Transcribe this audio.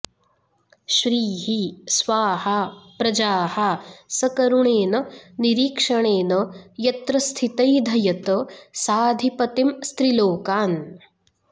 श्रीः स्वाः प्रजाः सकरुणेन निरीक्षणेन यत्र स्थितैधयत साधिपतींस्त्रिलोकान्